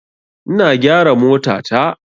Ina gyara motata.